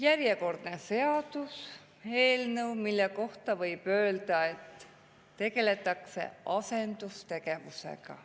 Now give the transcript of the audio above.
Järjekordne seaduseelnõu, mille kohta võib öelda, et tegeldakse asendustegevusega.